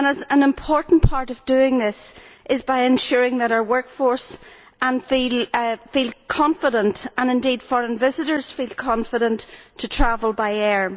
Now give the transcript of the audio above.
An important part of doing this is by ensuring that our workforce feels confident and, indeed, that foreign visitors feel confident to travel by air.